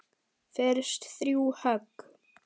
Fyrst þrjú högg.